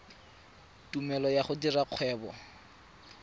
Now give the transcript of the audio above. tumelelo ya go dira kgwebo